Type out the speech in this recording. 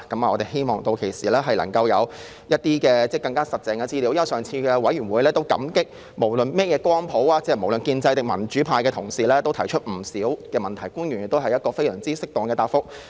我們希望屆時能夠有一些更實質的資料，因為在上次的小組委員會會議上，無論屬於甚麼政治光譜，是建制派還是民主派的同事，都提出不少問題，而官員亦給予非常適當的答覆。